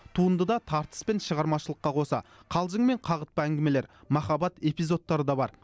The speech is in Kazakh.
туындыда тартыс пен шығармашылыққа қоса қалжың мен қағытпа әңгімелер махаббат эпизодтары да бар